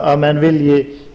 að menn vilji